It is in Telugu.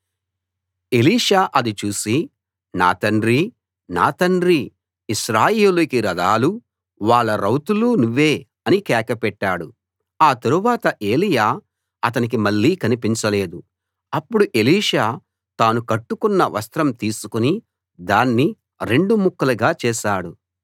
ఎలీషా అది చూసి నా తండ్రీ నా తండ్రీ ఇశ్రాయేలుకి రథాలూ వాళ్ళ రౌతులు నువ్వే అని కేక పెట్టాడు ఆ తరువాత ఏలీయా అతనికి మళ్ళీ కనిపించలేదు అప్పుడు ఎలీషా తాను కట్టుకున్న వస్త్రం తీసుకుని దాన్ని రెండు ముక్కలుగా చేశాడు